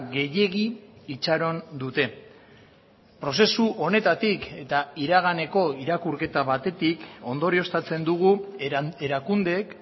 gehiegi itxaron dute prozesu honetatik eta iraganeko irakurketa batetik ondorioztatzen dugu erakundeek